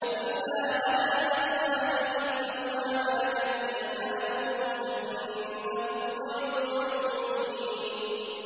إِلَّا عَلَىٰ أَزْوَاجِهِمْ أَوْ مَا مَلَكَتْ أَيْمَانُهُمْ فَإِنَّهُمْ غَيْرُ مَلُومِينَ